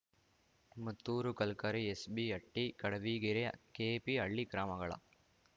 Mattur Kalkere S B Hatti Kadavigere K P Halli ಗ್ರಾಮಗಳ